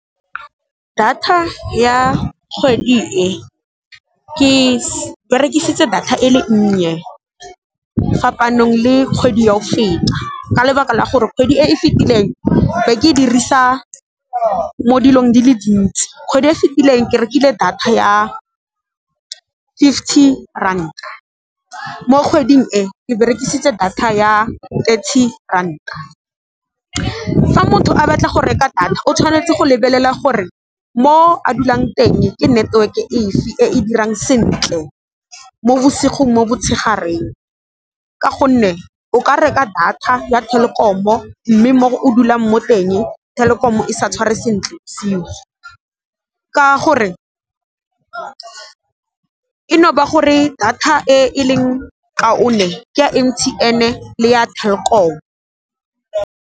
Data ya kgwedi e, ke berekisitse data e le nnye fapanong le kgwedi ya go feta, ka lebaka la gore kgwedi e e fetileng be ke dirisa mo dilong di le dintsi. Kgwedi e fitileng ke rekile data ya fifty ranta, mo kgweding e e berekisitse data ya thirty ranta. Fa motho a batla go reka data o tshwanetse go lebelela gore mo a dulang teng ke network e fe e e dirang sentle mo bosigo, mo motshegareng ka gonne, o ka reka data ya Telkom-o mme mo o dulang mo teng Telkom e sa tshware sentle ka gore eno ba gore data e leng kaone ke ya M_T_N le ya Telkom.